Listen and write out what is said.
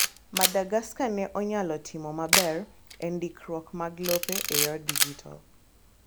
Madagaska ne onyalo timo maber e ndikruok mag lope e yor dijital